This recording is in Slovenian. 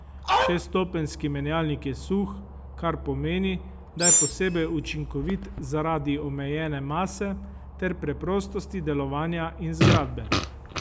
Šeststopenjski menjalnik je suh, kar pomeni, da je posebej učinkovit zaradi omejene mase ter preprostosti delovanja in zgradbe.